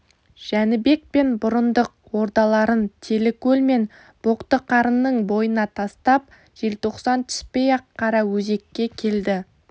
жәнібек пен бұрындық ордаларын телікөл мен боқтықарынның бойына тастап желтоқсан түспей-ақ қараөзекке келді